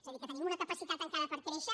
és a dir que tenim una capacitat encara per créixer